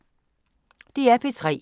DR P3